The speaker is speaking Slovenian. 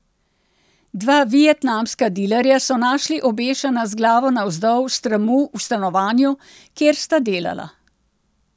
Dva vietnamska dilerja so našli obešena z glavo navzdol s tramu v stanovanju, kjer sta delala.